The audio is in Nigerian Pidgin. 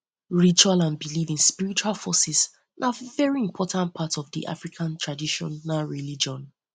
rituals and belief in spiritual forces na very important part of di african traditional religion